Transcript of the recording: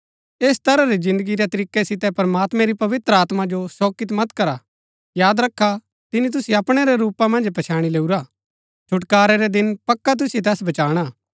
ऐस तरह री जिन्दगी रै तरीकै सितै प्रमात्मैं री पवित्र आत्मा जो शोकित मत करा याद रखा तिनी तुसिओ अपणै रै रूपा मन्ज पछैणी लैऊरा छुटकारै रै दिन पक्का तुसिओ तैस बचाणा